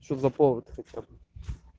что за повод хотя бы